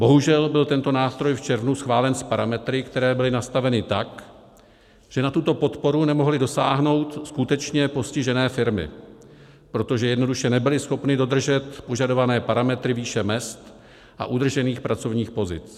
Bohužel byl tento nástroj v červnu schválen s parametry, které byly nastaveny tak, že na tuto podporu nemohly dosáhnout skutečně postižené firmy, protože jednoduše nebyly schopny dodržet požadované parametry výše mezd a udržených pracovních pozic.